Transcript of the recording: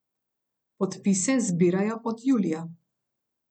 Podpise zbirajo od julija.